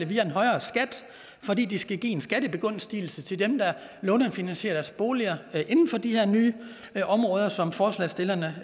via en højere skat fordi det skal give en skattebegunstigelse til dem der lånefinansierer deres boliger inden for de her nye områder som forslagsstillerne